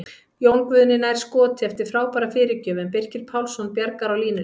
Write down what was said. Jón Guðni nær skoti eftir frábæra fyrirgjöf en Birkir Pálsson bjargar á línunni!